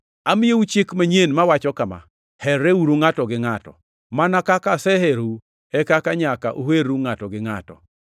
“Amiyou chik manyien mawacho kama: Herreuru ngʼato gi ngʼato. Mana kaka aseherou e kaka nyaka uherru ngʼato gi ngʼato.